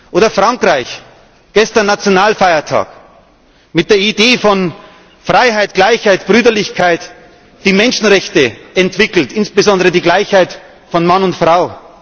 Oder Frankreich Gestern war Nationalfeiertag mit der Idee von Freiheit, Gleichheit, Brüderlichkeit, die Menschenrechte entwickelt, insbesondere die Gleichheit von Mann und